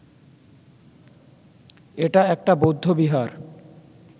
এটা একটা বৌদ্ধবিহার